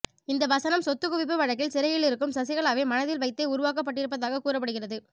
இந்த வசனம் சொத்துக்குவிப்பு வழக்கில் சிறையிலிருக்கும் சசிகலாவை மனதில் வைத்தே உருவாக்கப்பட்டிருப்பதாக கூறப்படுகிறது